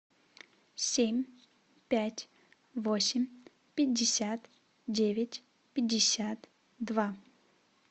семь пять восемь пятьдесят девять пятьдесят два